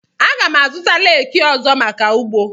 Aga m azụta reki ọzọ maka ugbo.